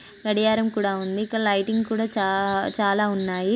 గడియారం కూడా ఉంది ఇక్కడా లైటింగ్ కూడా చా చాలా ఉన్నాయి .